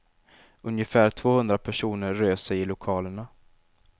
Ungefär tvåhundra personer rör sig i lokalerna.